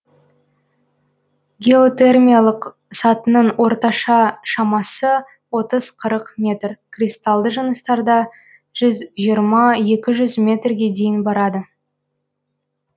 геотермиялық сатының орта шамасы отыз қырық метр кристалды жыныстарда жүз жиырма екі жүз метрге дейін барады